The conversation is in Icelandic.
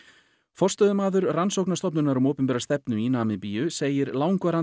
forstöðumaður rannsóknastofnunar um opinbera stefnu segir langvarandi